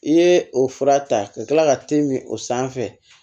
I ye o fura ta ka kila ka te min o sanfɛ